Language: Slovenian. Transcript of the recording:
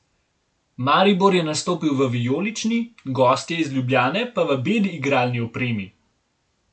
Maribor je nastopil v vijolični, gostje iz Ljubljane pa v beli igralni opremi.